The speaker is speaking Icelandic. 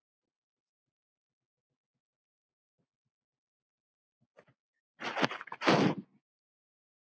Lífið svo flókið er.